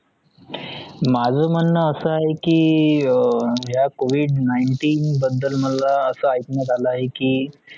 माझा म्हणणं असा आहे की अह या covid nineteen बदल मला असा ऐकण्यात आले आहे की